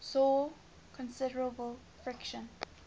saw considerable friction